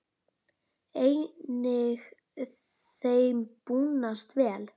Einnig þeim búnast vel.